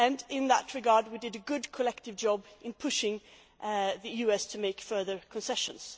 In that regard we did a good collective job in pushing the US to make further concessions.